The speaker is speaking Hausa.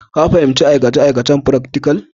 Ka fahimci aikace-aikacen firaktikal?